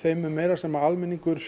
þeim mun meira sem almenningur